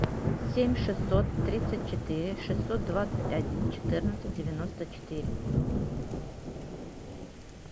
семь шестьсот тридцать четыре шестьсот двадцать один четырнадцать девяносто четыре